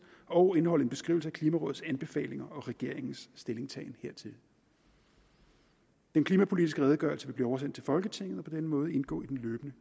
og indeholde en beskrivelse af klimarådets anbefalinger og regeringens stillingtagen hertil den klimapolitiske redegørelse vil blive oversendt til folketinget og på denne måde indgå i den løbende